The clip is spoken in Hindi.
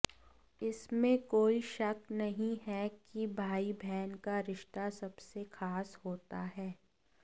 इसमें कोई शक नहीं हैं कि भाई बहन का रिश्ता सबसे ख़ास होता हैं